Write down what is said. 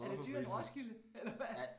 Er det dyrere end Roskilde eller hvad